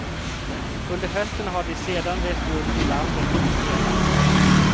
Under hösten har de sedan rest runt i landet och spelat.